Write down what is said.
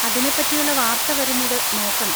അതിനെ പറ്റിയുള്ള വാർത്ത വരുന്നത് നോക്കണം.